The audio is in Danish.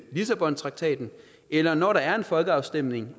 lissabontraktaten eller når der er en folkeafstemning